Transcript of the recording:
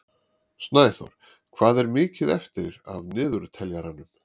Snæþór, hvað er mikið eftir af niðurteljaranum?